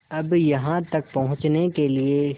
अब यहाँ तक पहुँचने के लिए